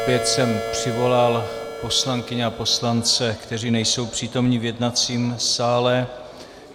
Opět jsem přivolal poslankyně a poslance, kteří nejsou přítomni v jednacím sále.